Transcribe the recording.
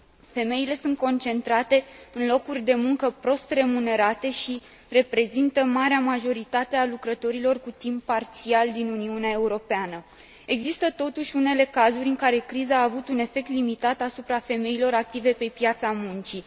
Femeile sunt concentrate în locuri de muncă prost remunerate și reprezintă marea majoritate a lucrătorilor cu timp parțial din Uniunea Europeană. Exisă totuși unele cazuri în care criza a avut un efect limitat asupra femeilor active pe piața muncii.